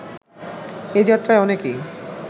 এ যাত্রায় অনেকেই